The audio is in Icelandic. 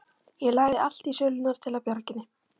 Ég lagði allt í sölurnar til að bjarga henni.